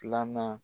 Filanan